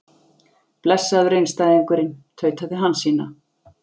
Blessaður einstæðingurinn, tautaði Hansína.